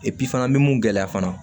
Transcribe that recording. fana mi mun gɛlɛya fana